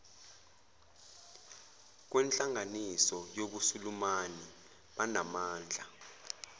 kwenhlanganiso yobusulumani banamandla